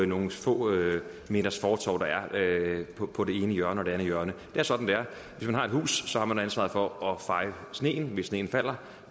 nogle få meters fortove der er på på det ene hjørne og det andet hjørne det er sådan det er hvis man har et hus har man ansvaret for at feje sneen hvis sneen falder